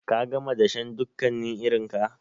Ka gama dashen dukkanin irinka?